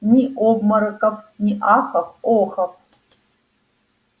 ни обмороков ни ахов-охов